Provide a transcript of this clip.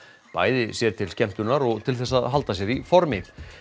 bæði sér til skemmtunar og til þess að halda sér í formi